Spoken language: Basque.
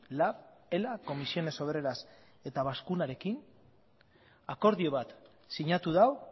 lab ela ccoo eta bazkuna akordio bat sinatu du